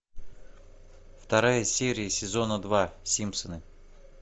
вторая серия сезона два симпсоны